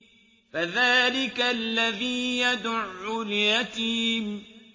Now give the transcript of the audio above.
فَذَٰلِكَ الَّذِي يَدُعُّ الْيَتِيمَ